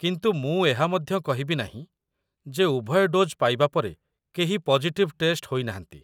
କିନ୍ତୁ ମୁଁ ଏହା ମଧ୍ୟ କହିବି ନାହିଁ ଯେ ଉଭୟ ଡୋଜ୍ ପାଇବା ପରେ କେହି ପଜିଟିଭ୍ ଟେଷ୍ଟ ହୋଇନାହାନ୍ତି।